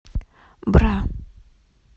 бра